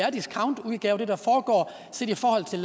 en discountudgave